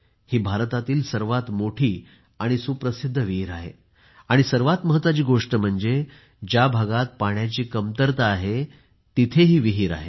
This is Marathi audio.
ही भारतातील सर्वात मोठी आणि सुप्रसिद्ध विहीर आहे आणि सर्वात महत्त्वाची गोष्ट म्हणजे ज्या भागात पाण्याची कमतरता आहे तिथे ही आहे